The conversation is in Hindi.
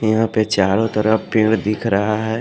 यहां पे चारों तरफ पेड़ दिख रहा है।